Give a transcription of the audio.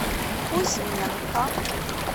кузьменко